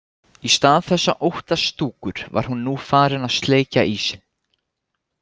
Í stað þess að óttast Stúkur var hann nú farinn að sleikja ísinn.